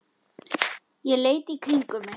Ég leit í kringum mig.